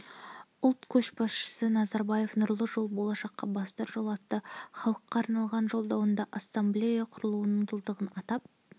ұлт көшбасшысы назарбаев нұрлы жол болашаққа бастар жол атты халыққа арнаған жолдауында ассамблея құрылуының жылдығын атап